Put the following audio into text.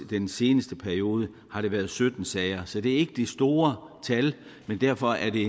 den seneste periode har der været sytten sager så det er ikke de store tal men derfor er det